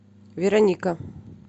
вероника